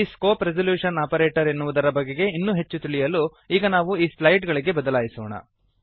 ಈ scope resolution operator ಎನ್ನುವುದರ ಬಗೆಗೆ ಇನ್ನೂ ಹೆಚ್ಚು ತಿಳಿಯಲು ಈಗ ನಾವು ಸ್ಲೈಡ್ ಗಳಿಗೆ ಬದಲಾಯಿಸೋಣ